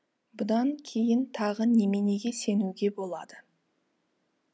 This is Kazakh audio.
бұдан кейін тағы неменеге сенуге болады